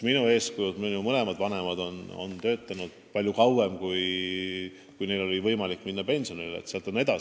Minu eeskujud, minu mõlemad vanemad on töötanud väga kaua, nad oleksid saanud palju varem pensionile jääda.